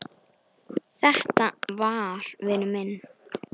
Þetta var vinur minn.